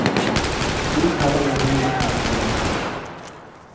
Noen karer ville holde litt moro med dette.